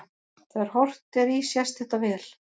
Þegar horft er í sést þetta vel.